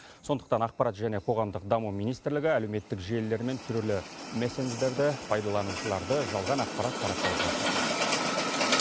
сондықтан ақпарат және қоғамдық даму министрлігі әлеуметтік желілер мен түрлі мессендждерді пайдаланушыларды жалған ақпарат таратпауға шақырады